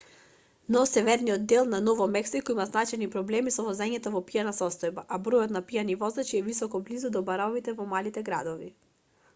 но северниот дел на ново мексико има значајни проблеми со возење во пијана состојба а бројот на пијани возачи е висока близу до баровите во малите градови